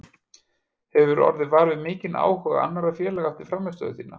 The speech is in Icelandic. Hefurðu orðið var við mikinn áhuga annarra félaga eftir frammistöðu þína?